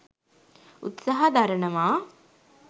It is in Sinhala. උත්සහ දරණවා.